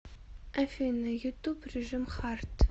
афина ютуб режим хард